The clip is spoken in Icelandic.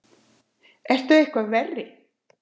Ertu eitthvað verri!